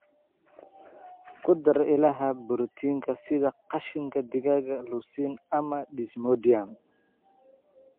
Ku dar ilaha borotiinka sida qashinka digaaga, Lucerne, ama Desmodium"